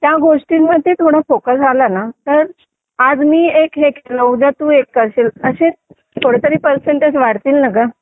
त्या गोष्टींमध्ये थोडा फोकस आला ना तर आज मी हे एक केलं उद्या तू एक करशील असेच थोडे तरी परसेंटेज वाढतील ना गं